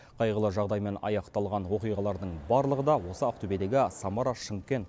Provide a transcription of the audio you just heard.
қайғылы жағдаймен аяқталған оқиғалардың барлығы да осы ақтөбедегі самара шымкент